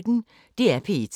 DR P1